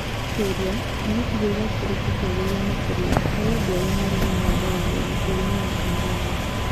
Kĩũria: Nĩ gĩcigĩrĩra kĩrĩkũ kĩagĩrĩru makĩria harĩ andũ arĩa marĩ na wathe wa ngothi bũrũri-inĩ wa Tanzania?